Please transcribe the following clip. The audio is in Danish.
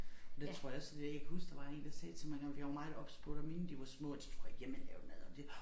Og det tror jeg også så det jeg kan huske der var én der sagde til mig engang fordi jeg var meget obs på da mine de var små at de skulle have hjemmelavet mad og det